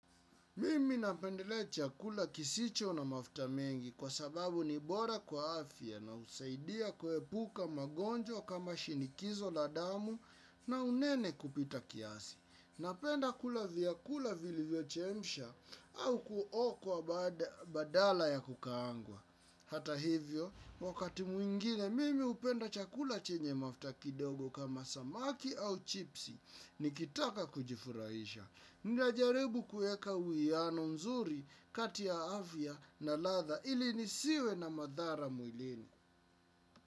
Mimi napendelea chakula kisicho na mafuta mengi kwa sababu ni bora kwa afya na husaidia kuepuka magonjwa kama shinikizo la damu na unene kupita kiasi. Napenda kula vyakula vilivyochemshwa au kuokwa badala ya kukaanga. Hata hivyo, wakati mwingine mimi hupenda chakula chenye mafuta kidogo kama samaki au chipsi nikitaka kujifurahisha. Najaribu kuweka uwiano mzuri kati ya afya na ladha ili nisiwe na madhara mwilini.